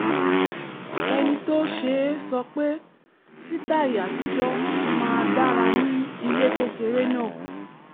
ẹni tó ṣe é sọ pé sítàì àtijọ́ máa dára ní ilé kékeré náà